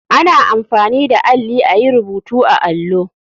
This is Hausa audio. Ana amfani da alli ayi rubutu a allo.